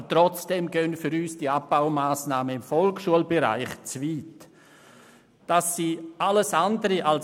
Aber trotzdem führen für uns die Abbaumassnahmen im Bereich der Volksschule zu weit.